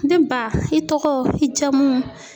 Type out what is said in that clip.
Ne ba i tɔgɔ i jamu.